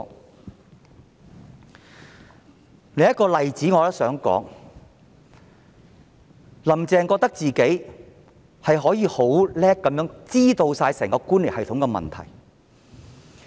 我想說的另一例子就是，"林鄭"覺得自己很清楚知道整個官僚系統的問題。